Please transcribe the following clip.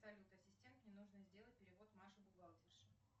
салют ассистент мне нужно сделать перевод маше бухгалтерше